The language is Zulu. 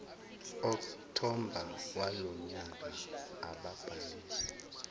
okthobha walonyaka ababhalise